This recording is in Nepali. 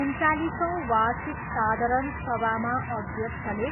उन्चालिसौँ वार्षिक साधारण सभामा अध्यक्षले